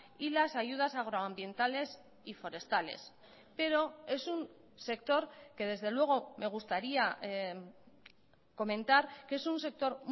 y las ayudas agroambientales y forestales pero es un sector que desde luego me gustaría comentar que es un sector